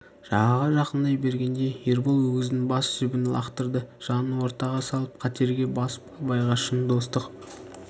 жағаға жақындай бергенде ербол өгіздің бас жібін лақтырды жанын ортаға салып қатерге басып абайға шын достық